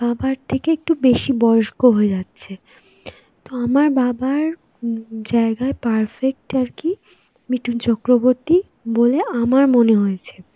বাবার থেকে একটু বেশি বয়স্ক হয়ে যাচ্ছে. তো আমার বাবার জায়গায় perfect আর কি মিঠুন চক্রবর্তী বলে আমার মনে হয়েছে,